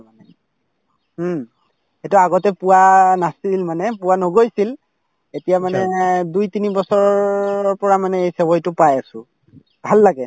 হুম, এইটো আগতে পোৱা নাছিল মানে পোৱা নগৈছিল এতিয়া মানে দুই তিনি বছৰৰ পৰা মানে এই চেৱাইতো পাই আছো ভাল লাগে